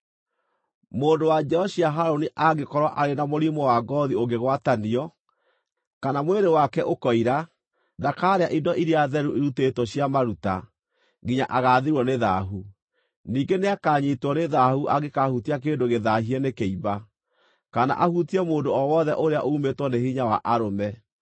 “ ‘Mũndũ wa njiaro cia Harũni angĩkorwo arĩ na mũrimũ wa ngoothi ũngĩgwatanio, kana mwĩrĩ wake ũkoira, ndakaarĩa indo iria theru irutĩtwo cia maruta, nginya agaathirwo nĩ thaahu. Ningĩ nĩakanyiitwo nĩ thaahu angĩkaahutia kĩndũ gĩthaahie nĩ kĩimba, kana ahutie mũndũ o wothe ũrĩa uumĩtwo nĩ hinya wa arũme,